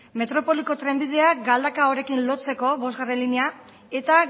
metropoliko trenbidea galdakaorekin lotzeko bostgarrena linea eta